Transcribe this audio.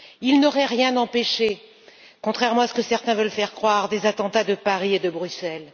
Il n'aurait rien empêché, contrairement à ce que certains veulent faire croire, des attentats de Paris et de Bruxelles.